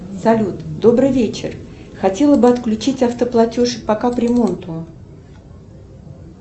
салют добрый вечер хотела бы отключить автоплатеж по капремонту